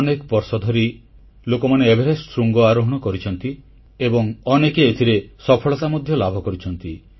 ଅନେକ ବର୍ଷ ଧରି ଲୋକମାନେ ଏଭେରେଷ୍ଟ ଶୃଙ୍ଗ ଆରୋହଣ କରିଛନ୍ତି ଏବଂ ଅନେକେ ଏଥିରେ ସଫଳତା ମଧ୍ୟ ଲାଭ କରିଛନ୍ତି